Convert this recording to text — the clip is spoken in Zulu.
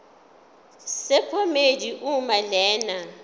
sephomedi uma lena